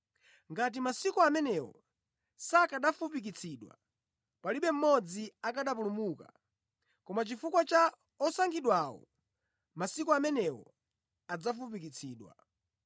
Ngati masiku amenewo sakanafupikitsidwa, palibe mmodzi akanapulumuka, koma chifukwa cha osankhidwawo masiku amenewo adzafupikitsidwa.